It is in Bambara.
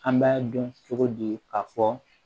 An b'a dɔn cogo di k'a fɔ